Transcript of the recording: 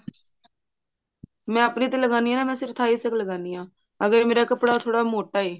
ਮੈਂ ਆਪਣੇ ਤੇ ਲਗਾਨੀ ਹਾਂ ਨਾ ਮੈਂ ਸਿਰਫ Thais ਤੱਕ ਲਗਾਉਂਦੀ ਹਾਂ ਅਗਰ ਮੇਰਾ ਕੱਪੜਾ ਥੋੜਾ ਮੋਟਾ ਏ